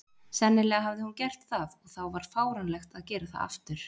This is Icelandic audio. Sennilega hafði hún gert það, og þá var fáránlegt að gera það aftur.